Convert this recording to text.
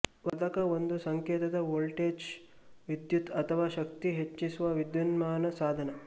ವರ್ಧಕ ಒಂದು ಸಂಕೇತದ ವೋಲ್ಟೇಜ್ ವಿದ್ಯುತ್ ಅಥವಾ ಶಕ್ತಿ ಹೆಚ್ಚಿಸುವ ವಿದ್ಯುನ್ಮಾನ ಸಾಧನ